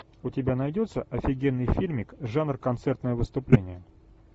у тебя найдется офигенный фильмик жанр концертное выступление